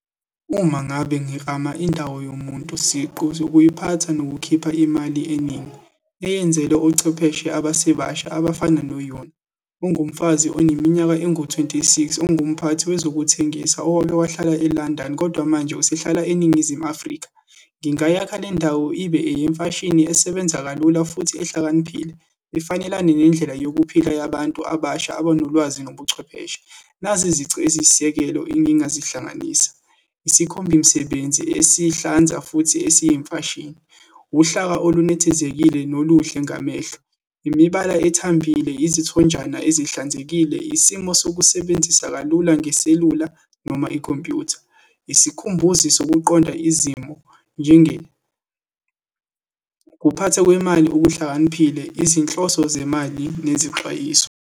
Uma ngabe ngiklama indawo yomuntu siqu ukuyiphatha nokukhipha imali eningi, eyenzela ochwepheshe abasebasha abafana no-Yon, ungumfazi oneminyaka engu-twenty six, ungumphathi wezokuthengisa owake wahlala e-London, kodwa manje usehlala eNingizimu Afrika. Ngingayakha le ndawo ibe eyemfashini esebenza kalula, futhi ehlakaniphile, ifanelane nendlela yokuphila yabantu abasha abanolwazi nobuchwepheshe. Nazi izici eziyisisekelo engingazihlanganisa, isikhombimsebenzi esihlanza, futhi esiyimfashini, uhlaka olunethezekile noluhle ngamehlo, imibala ethambile, izithonjana ezihlanzekile, isimo sokusebenzisa kalula ngeselula, noma ikhompyutha, isikhumbuzi sokuqonda izimo, ukuphathwa kwemali okuhlakaniphile, izinhloso zemali nezixwayiso.